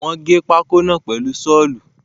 Wọ́n gé pákó náà pèlu Ṣọ́ọ̀lù